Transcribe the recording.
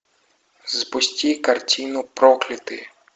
запусти картину проклятые